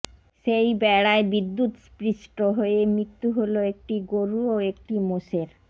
সেই বেড়ায় বিদ্যুৎস্পৃষ্ট হয়ে মৃত্যু হল একটি গরু ও একটি মোষের